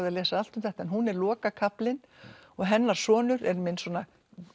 að lesa allt um þetta hún er lokakaflinn og hennar sonur er minn svona